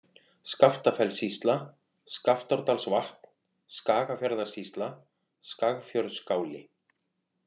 Skaftafellssýsla, Skaftárdalsvatn, Skagafjarðarsýsla, Skagfjörðsskáli